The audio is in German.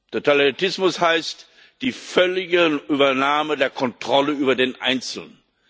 Totalitarismus heißt die völlige Übernahme der Kontrolle über den Einzelnen.